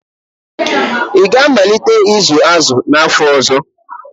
Ị ga-amalite ịzụ azụ n'afọ ọzọ?